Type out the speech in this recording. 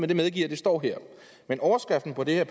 jeg medgiver at det står her men overskriften på det her